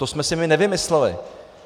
To jsme si my nevymysleli.